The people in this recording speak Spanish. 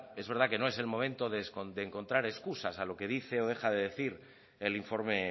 es verdad que no es el momento de encontrar excusas a lo que dice o deja de decir el informe